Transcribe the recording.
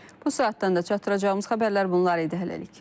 Bu saatdan da çatdıracağımız xəbərlər bunlar idi hələlik.